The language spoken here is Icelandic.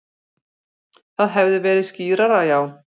Það hefði verið skýrara, já.